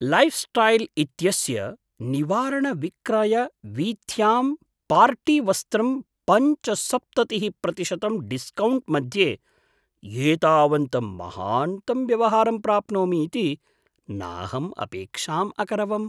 Lifestyle इत्यस्य निवारणविक्रयवीथ्यां पार्टीवस्त्रं पञ्चसप्ततिः प्रतिशतं डिस्कौण्ट् मध्ये एतावन्तं महान्तं व्यवहारं प्राप्नोमि इति नाहम् अपेक्षाम् अकरवम्।